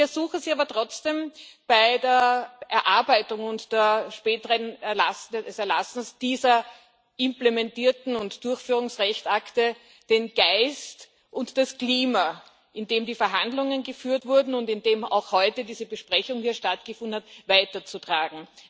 Ich ersuche Sie aber trotzdem, bei der Erarbeitung und dem späteren Erlass dieser delegierten und Durchführungsrechtsakte den Geist und das Klima, in dem die Verhandlungen geführt wurden und in dem auch heute diese Besprechung hier stattgefunden hat, weiterzutragen.